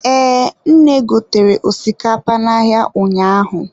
Ee, nne gotere osikapa n'ahịa ụnyaahụ.